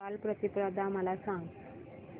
बलिप्रतिपदा मला सांग